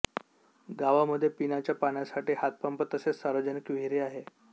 गावामध्ये पिण्याच्या पाण्यासाठी हातपंप तसेच सार्वजनिक विहीर आहे